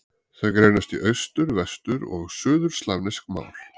Þau greinast í austur-, vestur- og suðurslavnesk mál.